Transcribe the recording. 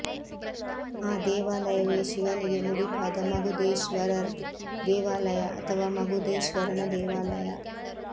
ಆ ದೇವಾಲಯವೆ ಶಿವನಿಗೆ ಮುಡಿಪಾದ ಮಗುದೇಶ್ವರರ್ ದೇವಾಲಯ ಅಥವಾ ಮಗುದೇಶ್ವರನ ದೇವಾಲಯ